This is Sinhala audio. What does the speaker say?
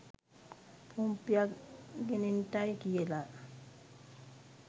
පොම්පයක් ගෙනෙන්ටයි කියලා.